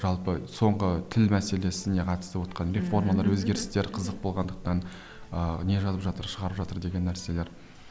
жалпы соңғы тіл мәселесіне қатысты реформалар өзгерістер қызық болғандықтан ыыы не жазып жатыр шығарып жатыр деген нәрселер